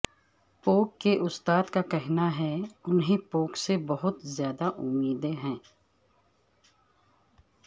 پوک کے استاد کا کہنا ہے انھیں پوک سے بہت زیادہ امیدیں ہیں